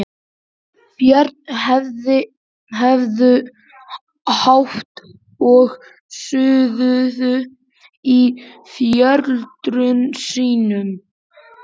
Börnin höfðu hátt og suðuðu í foreldrum sínum.